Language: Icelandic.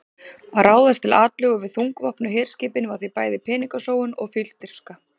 Að ráðast til atlögu við þungvopnuð herskipin var því bæði peningasóun og fífldirfska.